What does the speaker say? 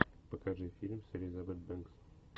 покажи фильм с элизабет бэнкс